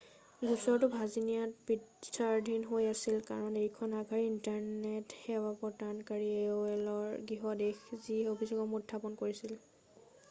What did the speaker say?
গোচৰটো ভাৰ্জিনিয়াত বিচাৰাধীন হৈ আছিল কাৰণ এইখন আগশাৰীৰ ইণ্টাৰনেট সেৱা প্ৰদানকাৰী aolৰ গৃহ দেশ যি অভিযোগসমূহ উত্থাপন কৰিছিল।